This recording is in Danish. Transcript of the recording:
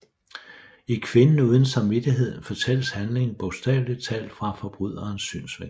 I Kvinden uden samvittighed fortælles handlingen bogstaveligt talt fra forbryderens synsvinkel